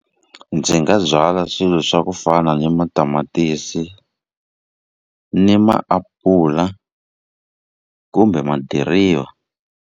Ndzi nga byala swilo swa ku fana ni matamatisi ni maapula kumbe madiriva.